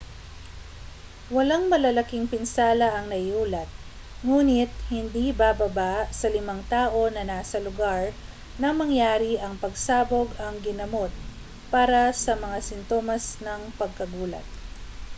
walang malalaking pinsala ang naiulat ngunit hindi bababa sa limang tao na nasa lugar nang mangyari ang pagsabog ang ginamot para sa mga sintomas ng pagkagulat